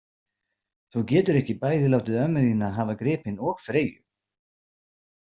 Þú getur ekki bæði látið ömmu þína hafa gripinn og Freyju